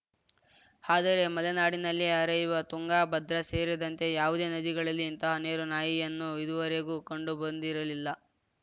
ಆದರೆ ಮಲೆನಾಡಿನಲ್ಲಿ ಹರಿಯುವ ತುಂಗಾ ಭದ್ರಾ ಸೇರಿದಂತೆ ಯಾವುದೇ ನದಿಗಳಲ್ಲಿ ಇಂತಹ ನೀರು ನಾಯಿಯನ್ನು ಇದುವರೆಗೂ ಕಂಡುಬಂದಿರಲಿಲ್ಲ